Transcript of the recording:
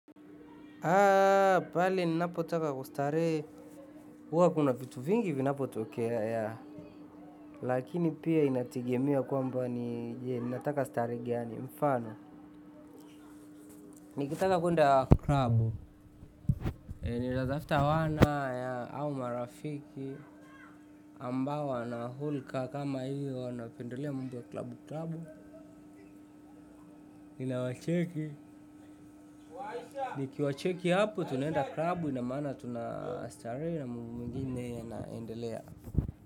Haa pale ninapo taka kustarehe, huwa kuna vitu vingi vinapo tokea yaa. Lakini pia inategemea kwamba ni nataka starehe gani mfano. Nikitaka kwenda klabu ninatafuta wana au marafiki ambao wana hulka kama hiyo wanapendelea mambo ya klabu klabu, ninawacheki. Niki wacheki hapo tunaenda klabu inamana tunastarehe na mambo mengine yanaendelea.